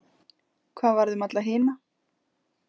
Hvað varð um alla hina?